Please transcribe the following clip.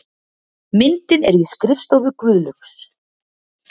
Myndin er í skrifstofu Guðlaugs